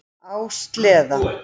Á sleða.